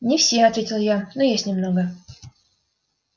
не все ответил я но есть немного